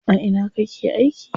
A ina kake aiki?